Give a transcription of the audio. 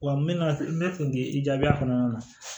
Wa n bɛna n bɛ fɛ k'i jaabi kɔnɔna na